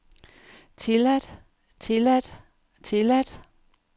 tilladt tilladt tilladt